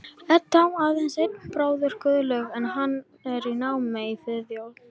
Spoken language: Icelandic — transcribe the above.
Edda á aðeins einn bróður, Guðlaug, en hann er í námi í Svíþjóð.